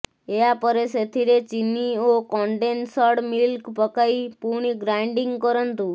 ଏହାପରେ ସେଥିରେ ଚିନି ଓ କଣ୍ଡେନସଡ଼ ମିଲ୍କ ପକାଇ ପୁଣି ଗ୍ରାଇଣ୍ଡିଙ୍ଗ କରନ୍ତୁ